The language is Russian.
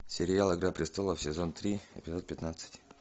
сериал игра престолов сезон три эпизод пятнадцать